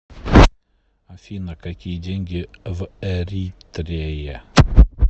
афина какие деньги в эритрее